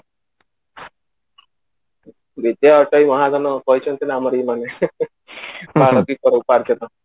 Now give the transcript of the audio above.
ବିଦ୍ୟା ଅଟଇ ମହାଧନ କହିଛନ୍ତି ନା ଆମର ଏଇ ମନୁଷ୍ୟ